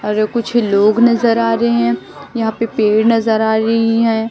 अरे कुछ लोग नज़र आ रहे हैं यहां पे पेड़ नज़र आ रही हैं।